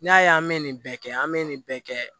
N'i y'a ye an bɛ nin bɛɛ kɛ an bɛ nin bɛɛ kɛ